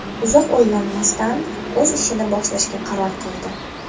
Uzoq o‘ylanmasdan, o‘z ishini boshlashga qaror qildi.